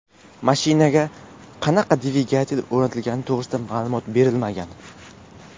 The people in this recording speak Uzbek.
Mashinaga qanaqa dvigatel o‘rnatilgani to‘g‘risida ma’lumot berilmagan.